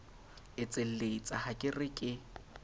etselletsa ha ke re ke